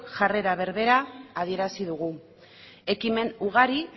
jarrera berbera adierazi dugu ekimen ugari